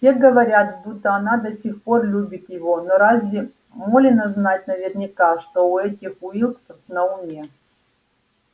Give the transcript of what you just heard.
все говорят будто она до сих пор любит его но разве молено знать наверняка что у этих уилксов на уме